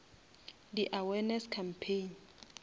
di awareness campaign